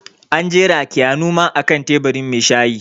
An jera Keanu ma a kan teburin mai shayi